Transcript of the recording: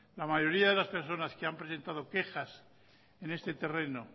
la mayoría de las personas que han presentado quejas en este terreno